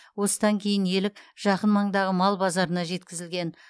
осыдан кейін елік жақын маңдағы мал базарына жеткізілген